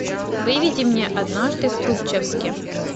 выведи мне однажды в трубчевске